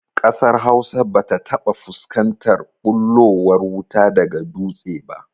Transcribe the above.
Ƙasar Hausa ba ta taɓa fuskantar ɓullowar wuta daga dutse ba